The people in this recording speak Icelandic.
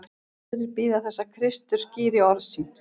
Aðrir bíða þess að Kristur skýri orði sín.